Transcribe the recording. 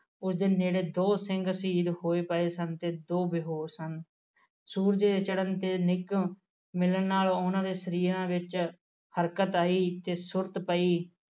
ਉਸਦੇ ਸਾਹਮਣੇ ਦੋ ਸਿੰਘ ਸ਼ਹੀਦ ਹੋਏ ਪਏ ਸਨ ਤੇ ਦੋ ਬੇਹੋਸ ਸਨ ਸੂਰਜ ਚੜਨ ਦੇ ਨਿਘੋ ਮਿਲਣ ਨਾਲ ਉਹਨਾਂ ਦੇ ਸਰੀਰ ਵਿੱਚ ਹਰਕਤ ਆਈ ਤੇ ਸੁੱਟ ਪਈ